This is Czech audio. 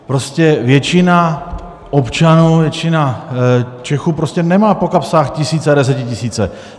Prostě většina občanů, většina Čechů prostě nemá po kapsách tisíce a desetitisíce.